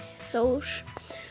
Þór